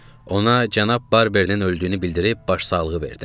Ona cənab Barbernin öldüyünü bildirib başsağlığı verdim.